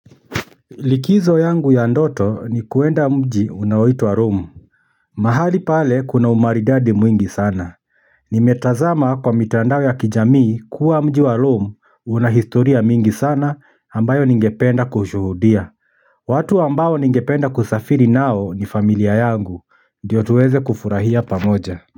Likizo yangu ya ndoto ni kuenda mji unaoitwa romu mahali pale kuna umaridadi mwingi sana nimetazama kwa mitandao ya kijamii kuwa mji wa romu unahistoria mingi sana ambayo ningependa kushuhudia watu ambao ningependa kusafiri nao ni familia yangu ndiyo tuweze kufurahia pamoja.